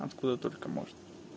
откуда только можно